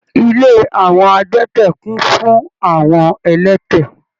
Ilé àwọn adẹ́tẹ̀ kún fún àwọn ẹlẹ́tẹ̀.